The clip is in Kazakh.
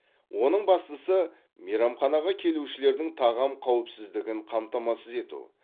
оның бастысы мейрамханаға келушілердің тағам қауіпсіздігін қамтамасыз ету